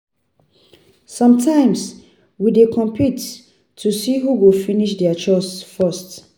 Sometimes, we dey compete to see who go finish their chores first.